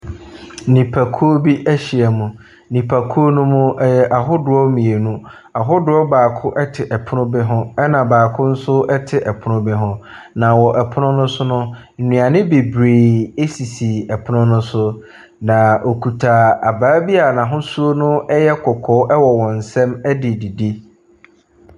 Nnipakuo bi ahyia mu. Nnipakuo ne mu yɛ ahodoɔ mmienu. Ahodoɔ baako te pono bi ho na baako nso te pono bi ho. Pono ne so no, nnuane bebree sisi pono ne so. Na wɔkita abaa bi a n’ahosuo no yɛ kɔkɔɔ wɔ wɔn nsa mu de redidi.